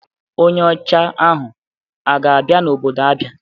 Onye ọcha ahụ a ga-abịa n'obodo Abia?